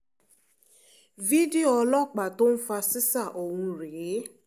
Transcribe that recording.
fídíò ọlọ́pàá tó ń fa ṣíṣá ọ̀hún rèé